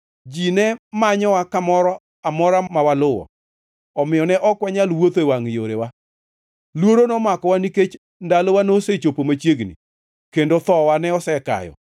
Ji ne manyowa kamoro amora mawaluwo, omiyo ne ok wanyal wuotho e wangʼ yorewa. Luoro nomakowa nikech ndalowa nosechopo machiegni kendo thowa ne osekayo.